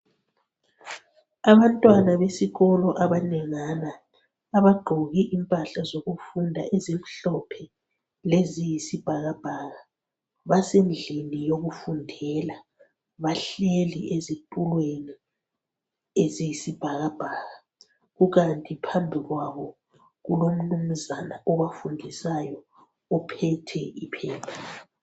Abantwana besikolo abalingana abagqoke impahla zokufunda elimhlophe leziyisibhakabhaka asendlini yokufundela bahleli ezitulweni leziyisibhakabhaka kukanti phambi kwabo kulomnunzana obafundisayo ophethe iphepha